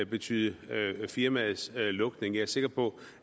betyde firmaets lukning jeg er sikker på